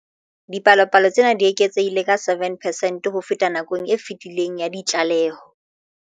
Dipalopalo tsena di eketsehile ka 7 percent ho feta nakong e fetileng ya ditlaleho.